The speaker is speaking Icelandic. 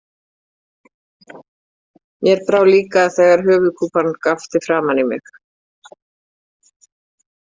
Mér brá líka þegar höfuðkúpan gapti framan í mig